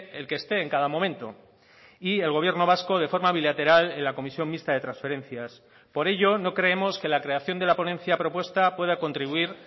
el que esté en cada momento y el gobierno vasco de forma bilateral en la comisión mixta de transferencias por ello no creemos que la creación de la ponencia propuesta pueda contribuir